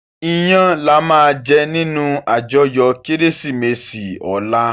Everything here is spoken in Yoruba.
Iyän làmá jè ninú àjòyò Kérésimési òlá